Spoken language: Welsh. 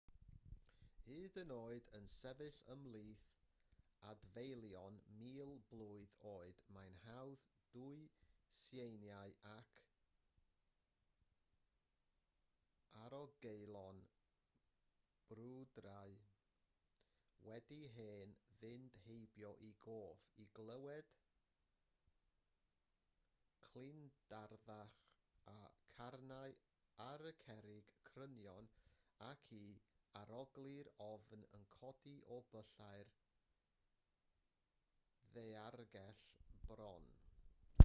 hyd yn oed yn sefyll ymhlith adfeilion mil blwydd oed mae'n hawdd dwyn seiniau ac arogleuon brwydrau wedi hen fynd heibio i gof i glywed clindarddach y carnau ar y cerrig crynion ac i arogli'r ofn yn codi o byllau'r ddaeargell bron